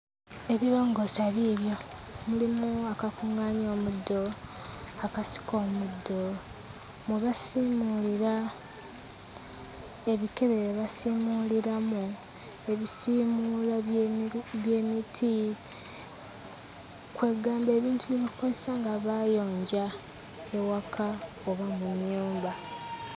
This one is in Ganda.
Ebirongoosa biibyo. Mulimu akakuŋŋaanya omuddo, akasika omuddo, mwe basiimuulira, ebikebe bye basiimuuliramu, ebisiimuula by'emiti, kwe ggamba ebintu bye bakozesa nga bayonja ewaka oba mu nnyumba.